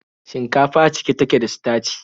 Shinkafa cike take da sitaci.